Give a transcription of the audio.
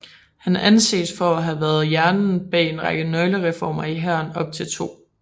Han anses for at have været hjernen bag en række nøglereformer i hæren op til 2